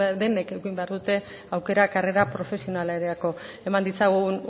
denek eduki behar dute aukera karrera profesionalerako eman ditzagun